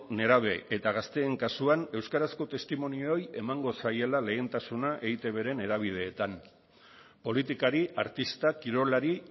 nerabe eta gazteen kasuan euskarazko testimonioei emango zaiela lehentasuna eitbren hedabideetan politikari artista kirolari